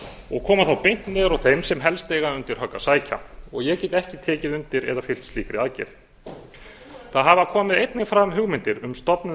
og koma þá beint niður á þeim sem helst eiga undir högg að sækja ég get ekki tekið undir eða fylgt slíkri aðgerð það hafa komið einnig fram hugmyndir um stofnun